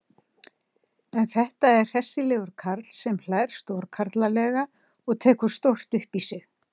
En þetta er hressilegur karl sem hlær stórkarlalega og tekur stórt upp í sig.